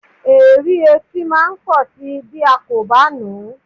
Èérí etí máa pọ̀ si bí a kò bá nù ú.